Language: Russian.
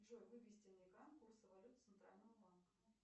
джой вывести на экран курсы валют центрального банка